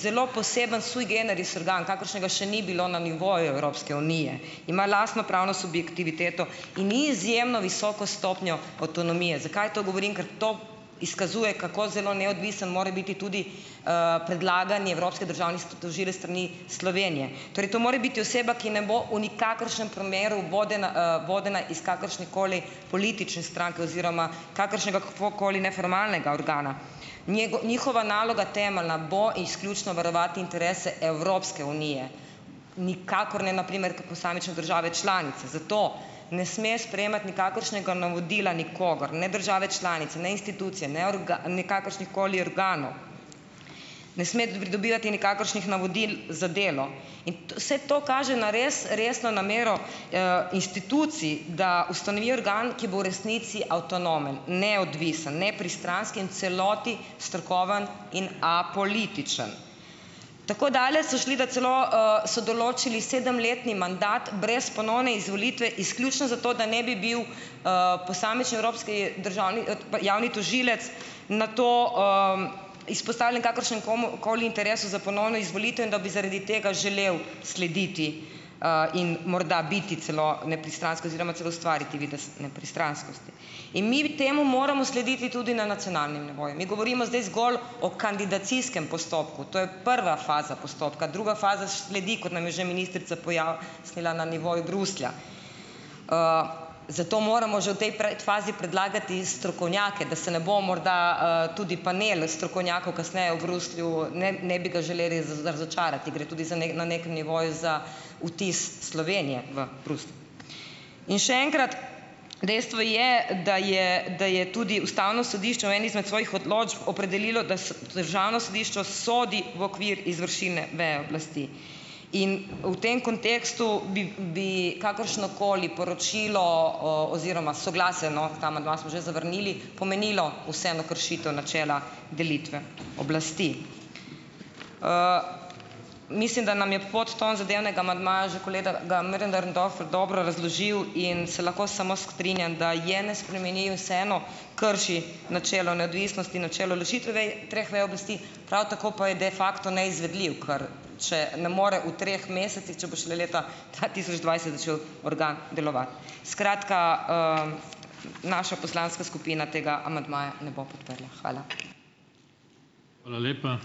zelo poseben sui generis organ, kakršnega še ni bilo na nivoju Evropske unije. Ima lastno pravno subjektiviteto in ni izjemno visoko stopnjo avtonomije. Zakaj to govorim? Ker to izkazuje kako zelo neodvisen more biti tudi, predlagani evropski državni tožilec s strani Slovenije. Torej, to mora biti oseba, ki ne bo v nikakršnem primeru vodena, vodena iz kakršnekoli politične stranke oziroma kakršnegakoli neformalnega organa. njihova naloga temeljna bo izključno varovati interese Evropske unije nikakor ne - na primer - kot posamične države članice. Zato ne sme sprejemati nikakršnega navodila nikogar, ne države članice, ne institucije, ne nikakršnih koli organov, ne sme pridobivati nikakršnih navodil za delo. In vse to kaže na res resno namero, institucij, da ustanovi organ, ki bo v resnici avtonomen, neodvisen, nepristranski in v celoti strokoven in apolitičen. Tako daleč so šli, da celo, so določili sedemletni mandat brez ponovne izvolitve izključno zato, da ne bi bil, posamični evropski državni, javni tožilec na to, izpostavljen kakršen komu koli interesu za ponovno izvolitev in da bi zaradi tega želeli slediti, in morda biti celo nepristransko oziroma celo ustvariti videz nepristranskosti. In mi temu moramo slediti tudi na nacionalnem nivoju. Mi govorimo zdaj zgolj o kandidacijskem postopku, to je prva faza postopka. Druga faza sledi, kot nam je že ministrica pojasnila na nivoju Bruslja, zato moramo že v tej pred fazi predlagati strokovnjake, da se ne bo morda, tudi panel strokovnjakov kasneje v Bruslju, ne ne bi ga želeli razočarati, gre tudi za na nekem nivoju za vtis Slovenije v Bruslju. In še enkrat. Dejstvo je, da je da je tudi ustavno sodišče v eni izmed svojih odločb opredelilo, da državno sodišče sodi v okvir izvršilne veje oblasti. In v tem kontekstu bi bi kakršnokoli poročilo o oziroma soglasje - no, ta amandma smo že zavrnili - pomenilo vseeno kršitev načela delitve oblasti. Mislim, da nam je podton zadevnega amandmaja že kolega Möderndorfer dobro razložil, in se lahko samo strinjam, da je ne spremeni, vseeno krši načelo neodvisnosti in načelo ločitve vej treh vej oblasti, prav tako pa je da facto neizvedljiv, ker če ne more v treh mesecih, če bo šele leta dva tisoč dvajset začel organ delovati. Skratka, naša poslanka skupina tega amandmaja ne bo podprla. Hvala.